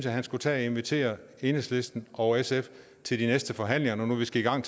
at han skulle tage og invitere enhedslisten og sf til de næste forhandlinger når nu vi skal i gang